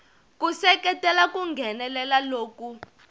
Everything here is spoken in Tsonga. ku seketela ku nghenelela loku